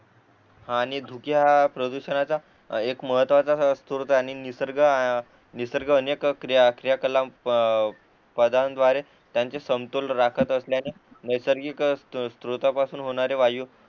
आणि धुके हा प्रदूषणाचा एक महत्वाचा स्त्रोत आणि निसर्ग निसर्ग अनेक क्रीया क्रिया कला पदांद्वारे त्यांचे संतुलन राखत असल्याने नैसर्गिक स्त्रोता पासून होणारे वायू